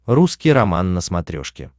русский роман на смотрешке